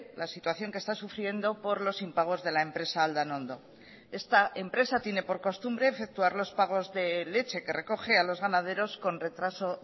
la situación que está sufriendo por los impagos de la empresa aldanondo esta empresa tiene por costumbre efectuar los pagos de leche que recoge a los ganaderos con retraso